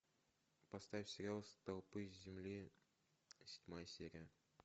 поставь сериал столпы земли седьмая серия